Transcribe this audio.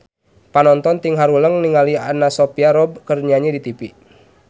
Panonton ting haruleng ningali Anna Sophia Robb keur nyanyi di tipi